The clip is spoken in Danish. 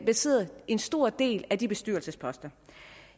bestrider en stor del af de bestyrelsesposter